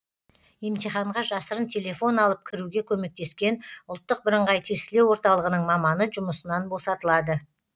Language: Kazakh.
емтиханға жасырын телефон алып кіруге көмектескен ұлттық бірыңғай тестілеу орталығының маманы жұмысынан босатылады